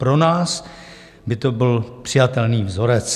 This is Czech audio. Pro nás by to byl přijatelný vzorec.